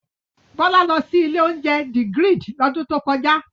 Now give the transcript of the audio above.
Bọ́lá lọ sí ilé-oúnjẹ The Grid lọ́dún tó kọjá.